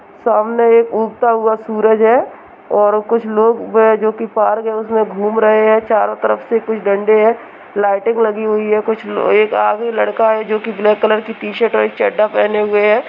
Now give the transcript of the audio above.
सामने एक उगता हुआ सूरज है और कुछ लोग हैं जो कि पार्क है उस में घूम रहे हैं| चारों तरफ से कुछ डंडे हैं| लाइटिंग लगी हुई है| कुछ एक आगे लड़का है जो कि ब्लैक कलर की टी-शर्ट और एक चड्ढा पहने हुए है।